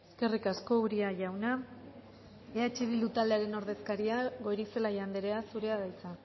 eskerrik asko uria jauna eh bildu taldearen ordezkaria goirizelaia andrea zurea da hitza